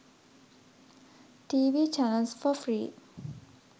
tv channels for free